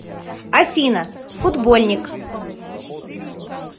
афина футбольник